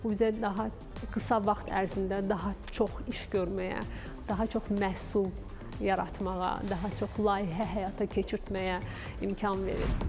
Bu bizə daha qısa vaxt ərzində daha çox iş görməyə, daha çox məhsul yaratmağa, daha çox layihə həyata keçirtməyə imkan verir.